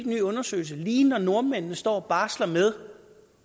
ny undersøgelse lige når nordmændene står og barsler med